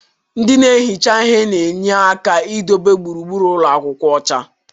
ndị na-ehicha ihe na-enyere aka idobe gburugburu ụlọ akwụkwọ ọcha.